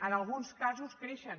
en alguns casos creixen